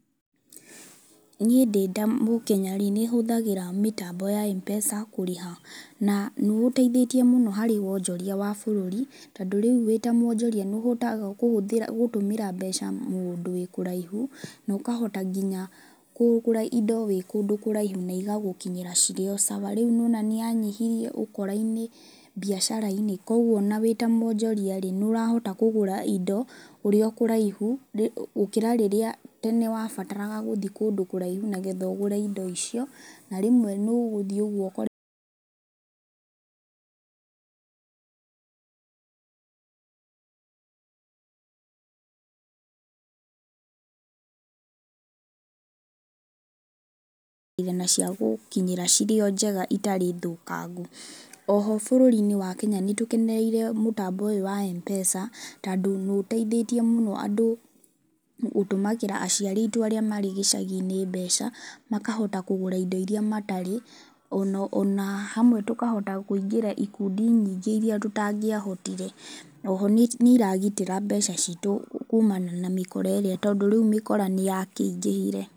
Niĩ ndĩ ta mũkenyarĩ, nĩhũthagĩra mĩtambo ya mpesa kũrĩha, na nĩũteithĩtie mũno harĩ wonjoria wa bũrũri, tondũ rĩu wĩta mwonjoria nĩũhotaga kũhũthĩra gũtũmĩra mbeca mũndũ wĩ kũraihu, na ũkahota nginya kũgũra indo wĩ kũndũ kũraihu na igagũkinyĩra cirĩ o sawa. Rĩũ nĩwona nĩyanyihirie ũkora-inĩ biacara-inĩ, kwoguo ona wĩta mwonjoriarĩ nĩũrahota kũgũra indo ũrĩo kũraihu, rĩ gũkĩra rĩrĩa tene wabataraga gũthiĩ kũndũ kũraihu nĩgetha ũgũre indo icio, na rĩmwe nĩ ũgũthiĩ ũguo ũkore ciagũkinyĩra irĩo njega citarĩ thũkangu. Oho bũrũri-inĩ nĩtũkenereire mũbambo ũyũ wa mpesa, tondũ nĩiteithĩtie mũno andũ gũtũmagĩra aciari aitũ arĩa marĩ gĩcagi-inĩ mbeca makahota kũgũra indo iria matarĩ ona ona hamwe tũkahota kũingĩra ikundi nyingĩ iria tũtangĩahotire. Oho nĩ nĩiragitĩra mbeca citu kũũmana na mĩkora ĩrĩa tondũ rĩu mĩkora nĩyakĩingĩhire.